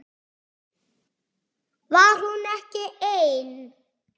Var hún ekki ein?